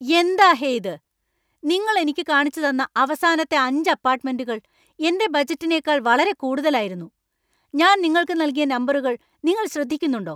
എന്താ ഹേ ഇത്? നിങ്ങൾ എനിക്ക് കാണിച്ചുതന്ന അവസാനത്തെ അഞ്ച് അപ്പാർട്ട്മെന്റുകൾ എന്‍റെ ബജറ്റിനേക്കാൾ വളരെ കൂടുതലായിരുന്നു. ഞാൻ നിങ്ങൾക്ക് നൽകിയ നമ്പറുകൾ നിങ്ങൾ ശ്രദ്ധിക്കുന്നുണ്ടോ?